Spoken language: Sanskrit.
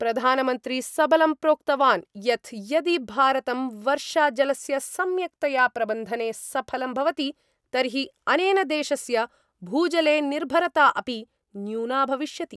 प्रधानमन्त्री सबलं प्रोक्तवान् यत् यदि भारतं वर्षाजलस्य सम्यक्तया प्रबन्धने सफलं भवति तर्हि अनेन देशस्य भूजले निर्भरता अपि न्यूना भविष्यति।